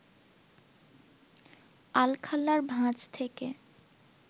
আলখাল্লার ভাঁজ থেকে